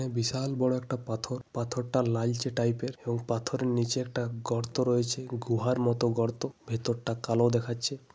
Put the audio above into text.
বিশাল বড়ো একটা পাথর । পাথরটা লালচে টাইপ এর এবং পাথরের নিচে একটা গর্ত রয়েছে গুহার মতন গর্ত । ভেতর টা কালো দেখাচ্ছে ।